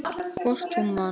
Hvort hún man!